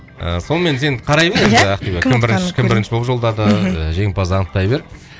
ы сонымен сен қарай бер енді ақбибі кім бірінші кім бірінші болып жолдады жеңімпазды анықтай бер